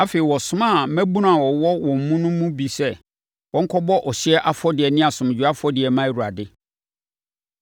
Afei, ɔsomaa mmabunu a wɔwɔ wɔn mu no bi sɛ wɔnkɔbɔ ɔhyeɛ afɔdeɛ ne asomdwoeɛ afɔdeɛ mma Awurade.